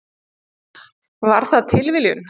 Var það tilviljun?